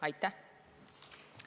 Aitäh!